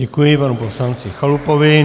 Děkuji panu poslanci Chalupovi.